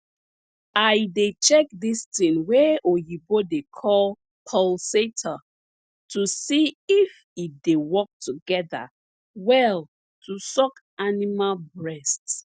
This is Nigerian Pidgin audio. i dey check dis ting wey oyibo dey call pulsator to see if e dey work together well to suck animal breast